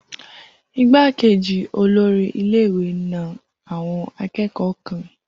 Igbákejì olórí ilé ìwé na àwọn akẹ́kọ̀ọ́ kan